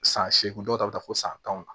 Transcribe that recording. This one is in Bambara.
San seegin dɔw ta bɛ taa fo san tan